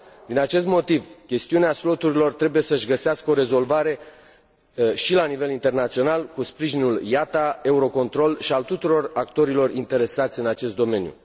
Din acest motiv, chestiunea sloturilor trebuie să își găsească o rezolvare și la nivel internațional, cu sprijinul IATA, Eurocontrol și al tuturor actorilor interesați din acest domeniu.